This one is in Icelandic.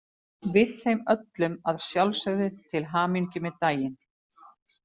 Við þeim öllum að sjálfsögðu til hamingju með daginn.